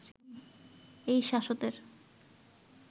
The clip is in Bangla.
এই শ্বাশতের